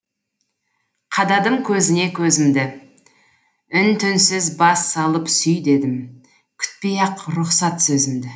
қададым көзіне көзімді үн түнсіз бас салып сүй дедім күтпей ақ рұхсат сөзімді